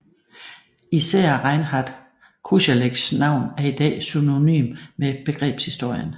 Især Reinhart Kosellecks navn er i dag synonymt med begrebshistorien